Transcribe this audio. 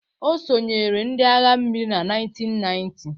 Ọ sonyeere ndị agha mmiri na 1990